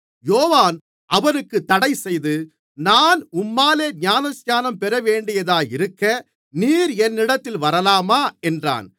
யோவான் அவருக்குத் தடைசெய்து நான் உம்மாலே ஞானஸ்நானம் பெறவேண்டியதாயிருக்க நீர் என்னிடத்தில் வரலாமா என்றான்